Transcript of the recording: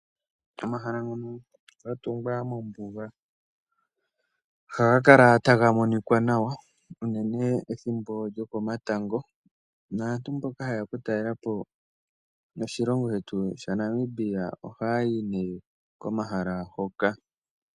Omahala ngono ga tungwa mombuga ohagakala taga monikwa nawa unene ethimbo lyokomatango , naantu mboka hayeya oku talelapo oshilongo sha Namibia ohayai nee koma ghala ngoka.